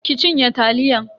ki cinye taliyan.